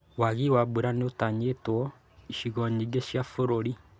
Wagi wa mbura nĩũtanyĩtwo icigo nyingĩ cia bũrũri